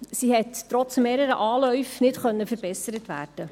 Diese konnte trotz mehrerer Anläufe nicht verbessert werden.